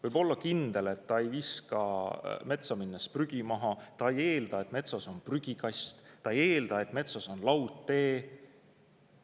Võib olla kindel, et ta ei viska metsa minnes prügi maha, ta ei eelda, et metsas on prügikast, ta ei eelda, et metsas on laudtee.